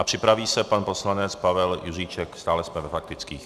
A připraví se pan poslanec Pavel Juříček, stále jsme ve faktických.